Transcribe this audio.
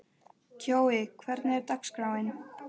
Kjói, hvernig er dagskráin?